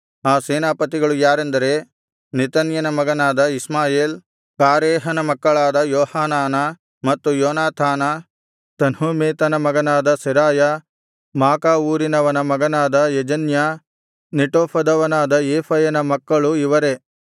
ಆ ಸೇನಾಪತಿಗಳು ಯಾರೆಂದರೆ ನೆತನ್ಯನ ಮಗನಾದ ಇಷ್ಮಾಯೇಲ ಕಾರೇಹನ ಮಕ್ಕಳಾದ ಯೋಹಾನಾನ ಮತ್ತು ಯೋನಾಥಾನ ತನ್ಹುಮೆತನ ಮಗನಾದ ಸೆರಾಯ ಮಾಕಾ ಊರಿನವನ ಮಗನಾದ ಯೆಜನ್ಯ ನೆಟೋಫದವನಾದ ಏಫಯನ ಮಕ್ಕಳು ಇವರೇ